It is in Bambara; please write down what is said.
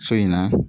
So in na